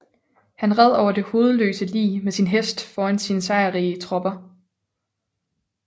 Han red over det hovedløse lig med sin hest foran sine sejrrige tropper